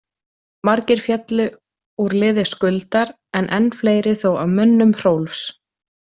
Margir féllu úr liði Skuldar en enn fleiri þó af mönnum Hrólfs.